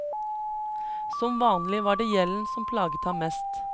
Som vanlig var det gjelden som plaget ham mest.